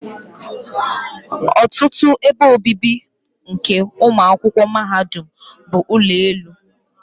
ọtụtụ ebe obibi nke ụmụ akwụkwọ mahadum bụ ụlọ elu.